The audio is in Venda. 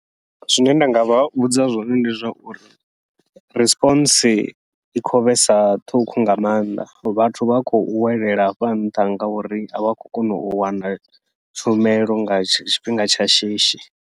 Zwine nda ngavha vhudza zwone ndi zwa uri, responds i khou vhesa ṱhukhu nga maanḓa vhathu vha khou welela hafha nnḓa ngauri avha a khou kona u wana tshumelo nga tshifhinga tsha shishi.